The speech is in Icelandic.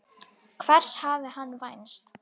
Hvers hafði hann vænst?